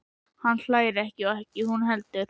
Hann hlær ekki og ekki hún heldur.